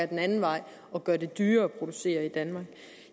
den anden vej og gjorde det dyrere at producere i danmark